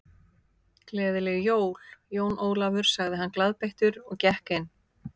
Gleðileg jól, Jón Ólafur sagði hann glaðbeittur og gekk inn.